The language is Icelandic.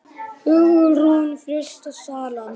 Hugrún: Fyrsta salan?